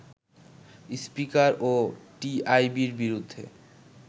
স্পীকারও টিআইবির বিরুদ্ধে